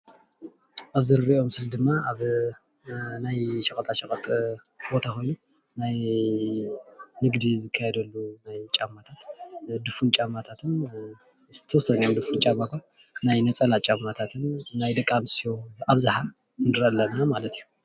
ኣብዚ ንሪኦ ምስሊ ድማ ኣብ ናይ ሸቐጣሸቐጥ ቦታ ኮይኑ ናይ ንግዲ ዝካየደሉ ናይ ጫማታት ድፍን ጫማታትን፣ ናይ ነፀላ ጫማታትን ናይ ደቂ ኣንስትዮ ኣብዝሓ ንሪኢ ኣለና ማለት እዩ፡፡